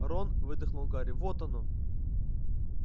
рон выдохнул гарри вот оно